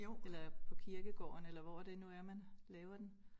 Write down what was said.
Eller på kirkegården eller hvor at det nu er man laver den